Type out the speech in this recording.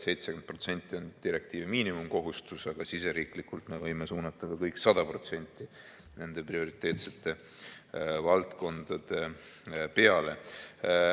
70% on direktiivi miinimumkohustus, aga siseriiklikult me võime suunata ka kõik 100% nende prioriteetsete valdkondade peale.